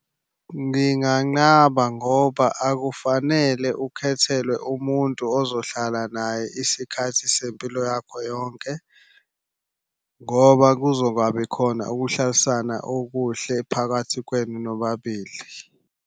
Nginganqaba ngoba akufanele ukhethelwe umuntu ozohlala naye isikhathi sempilo yakho yonke, ngoba kuzongabi khona ukuhlalisana okuhle phakathi kwenu nobabili.